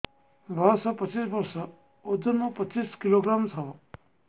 ବୟସ ପଚିଶ ବର୍ଷ ଓଜନ ପଚିଶ କିଲୋଗ୍ରାମସ ହବ